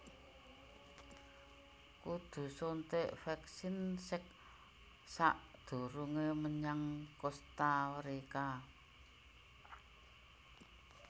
Kudu suntik vaksin sek sakdurunge menyang Kosta Rika